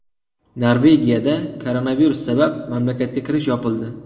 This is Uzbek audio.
Norvegiyada koronavirus sabab mamlakatga kirish yopildi.